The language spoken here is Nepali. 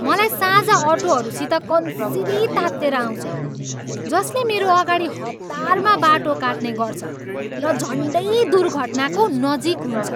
मलाई साझा अटोहरूसित कन्सिरी तातेर आउँछ जसले मेरो अगाडि हतारमा बाटो काट्ने गर्छ र झन्डै दुर्घटनाको नजिक हुन्छ।